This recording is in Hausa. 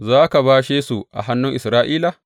Za ka bashe su a hannun Isra’ila?